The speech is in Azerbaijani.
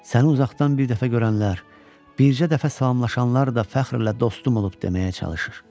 Səni uzaqdan bir dəfə görənlər, bircə dəfə salamlaşanlar da fəxrlə dostum olub deməyə çalışır.